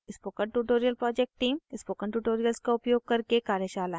spoken tutorial project team spoken tutorials का उपयोग करके कार्यशालाएं चलाती है